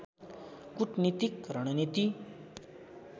कुटनीतिक रणनीति